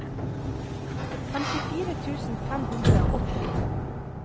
femtifire tusen fem hundre og åtti